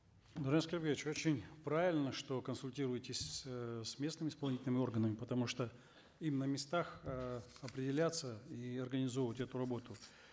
даурен аскербекович очень правильно что консультируетесь эээ с местными исполнительными органами потому что им на местах э определяться и организовывать эту работу